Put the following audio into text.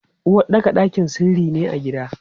Uwaɗɗaka ɗakin sirri ne a gida.